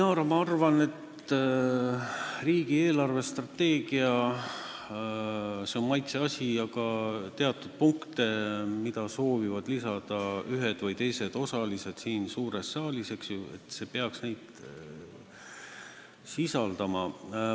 Jah, Inara, ma arvan, et riigi eelarvestrateegia on küll maitseasi, aga teatud punkte, mida soovivad lisada ühed või teised osalised siin suures saalis, peaks see sisaldama.